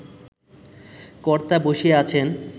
কর্তা বসিয়া আছেন